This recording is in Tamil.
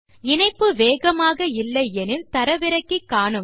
இணைப்பு வேகமாக இல்லை எனில் தரவிறக்கி காணலாம்